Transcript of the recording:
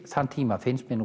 þann tíma finnst mér